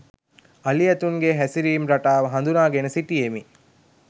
අලි ඇතුන්ගේ හැසිරීම් රටාව හඳුනාගෙන සිටියෙමි